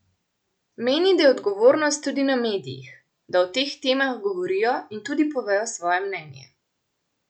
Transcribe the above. Meni, da je odgovornost tudi na medijih, da o teh temah govorijo in tudi povejo svoje mnenje.